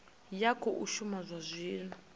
ya khou shuma zwa zwino